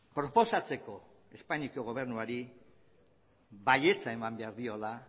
proposatzeko espainiako gobernuari baietza eman behar diola